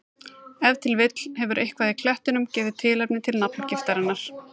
Ef til vill hefur eitthvað í klettunum gefið tilefni til nafngiftarinnar.